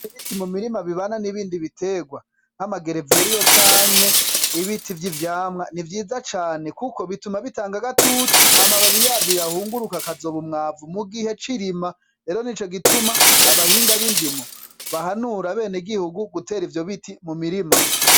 Ibiti mu mirima bibana n'ibindi biterwa nk'igereveriyo canke ibiti vy'ivyamwa ni vyiza cane kuko bituma bitanga agatutu amababi yavyo yahunguruka akazoba umwavu mu gihe c'irima, rero nico gituma abahinga bindimo bahanura abene gihugu gutera ivyo biti mu mirima.